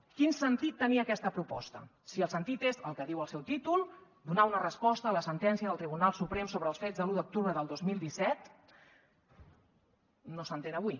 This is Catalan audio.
quin sentit tenia aquesta proposta si el sentit és el que diu el seu títol donar una resposta a la sentència del tribunal suprem sobre els fets de l’un d’octubre del dos mil disset no s’entén avui